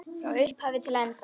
Frá upphafi til enda.